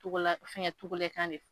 Fɛn gɛ kan de fɔ